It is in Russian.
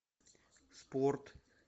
спорт